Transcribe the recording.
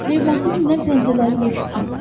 Revmatizmdən pəncərələri yer tutmur.